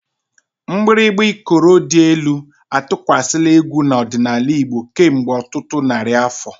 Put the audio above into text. Mgbịrịgba Ikoro dị elu atụkwasịla egwu ọdịnala Igbo kemgbe ọtụtụ narị afọ.